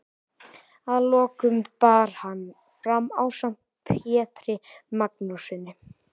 Að lokum bar hann fram ásamt Pjetri Magnússyni